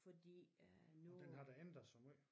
Fordi øh nu